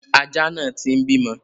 Aja náà ti ń bímọ.